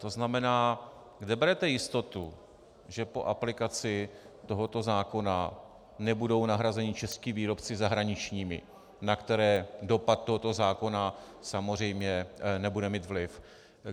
To znamená, kde berete jistotu, že po aplikaci tohoto zákona nebudou nahrazeni čeští výrobci zahraničními, na které dopad tohoto zákona samozřejmě nebude mít vliv?